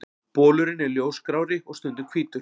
Bolurinn er ljósgrárri og stundum hvítur.